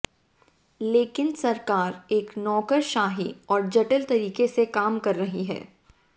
लेकिन सरकार एक नौकरशाही और जटिल तरीके से काम कर रही है